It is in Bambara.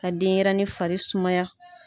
Ka denyɛrɛnin fari sumaya.